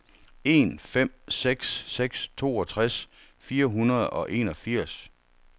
en fem seks seks toogtres fire hundrede og enogfirs